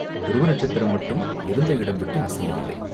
துருவ நட்சத்திரம் மட்டும் இருந்த இடம் விட்டு அசையவில்லை.